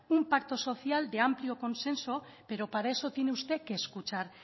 un pacto social de amplio consenso pero para eso tiene usted que escuchar